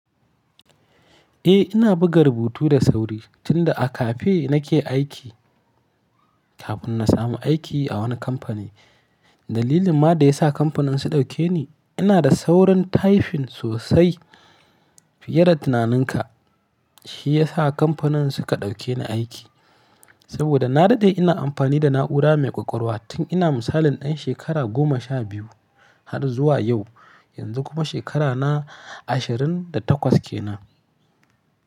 Eh ina buga rubutu da sauri tun da a cafe nake aiki kafin na samu aiki a wani kamfani. Dalilin ma da ya sa kamfanin su dauke ni ina da saurin typing sosai fiye da tunaninka. Shi ya sa kamfanin suka dauke ni aiki saboda na daɗe ina amfani da na'ura mai ƙwaƙwalwa tun ina misalin ɗan shekara goma sha biyu har zuwa yau. Yanzu kuma shekarana ashirin da takwas ke nan.